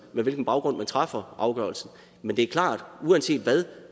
hvilken baggrund man træffer afgørelsen men det er klart at uanset hvad